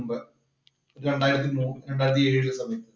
രണ്ടായിരത്തി